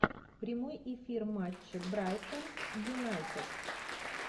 прямой эфир матча брайтон юнайтед